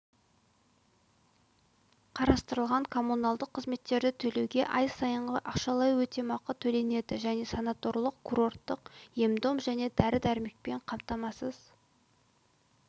қарастырылған коммуналдық қызметтерді төлеуге ай сайынғы ақшалай өтемақы төленеді және санаторлық-курорттық ем-дом мен дәрі-дәрмекпен қамтамасыз